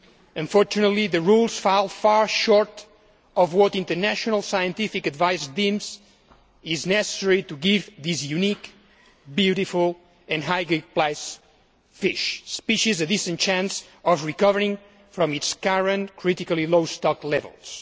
Unfortunately the rules fall far short of what international scientific advice deems necessary to give this unique, beautiful and highly priced fish species a decent chance of recovering from its current critically low stock levels.